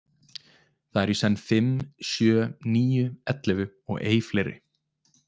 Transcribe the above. Þar eru í senn fimm, sjö, níu, ellefu og ei fleiri.